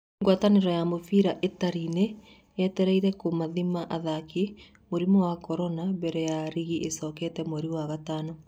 Ngwatanĩro ya mũbira Itarĩ nĩ yetereire kũmathima athaki mũrimũ wa Korona mbere ya rigi ĩcokete mweri wa gatano